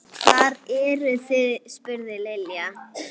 Hvar eruð þið? spurði Lilla.